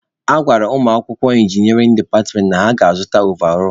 A gwara ụmụakwụkwọ inginịarịn departmentị na ha ga-azụta ovarọl.